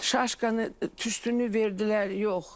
Şaşkanı, tüstünü verdilər, yox.